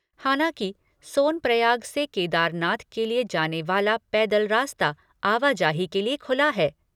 हालांकि सोनप्रयाग से केदारनाथ के लिए जाने वाला पैदल रास्ता आवाजाही के लिए खुला है।